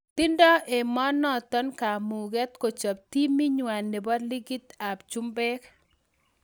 Tindo emonoton kamuget kochop timit nywan nebo likit ab chumbek.